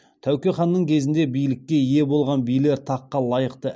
тәуке ханның кезінде билікке ие болған билер таққа лайықты